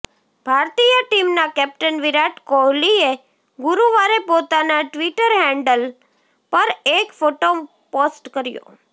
ભારતીય ટીમના કેપ્ટન વિરાટ કોહલીએ ગુરુવારે પોતાના ટ્વીટર હેન્ડલ પર એક ફોટો પોસ્ટ કર્યો